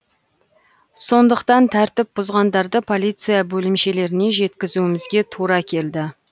сондықтан тәртіп бұзғандарды полиция бөлімшелеріне жеткізумізге тура келді